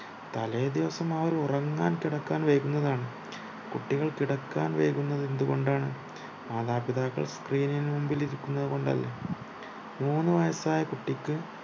തലേദിവസം അവർ ഉറങ്ങാൻ കിടക്കാൻ വൈകുന്നതാണ് കുട്ടികൾ കിടക്കാൻ വൈകുന്നതെന്തുകൊണ്ടാണ് മാതാപിതാക്കൾ screen ന് മുമ്പിൽ ഇരിക്കുന്നത് കൊണ്ടല്ലേ മൂന്നു വയസായാ കുട്ടിക്ക്